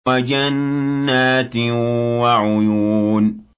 وَجَنَّاتٍ وَعُيُونٍ